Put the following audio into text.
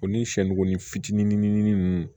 O ni shɔ ni fitinin nunnu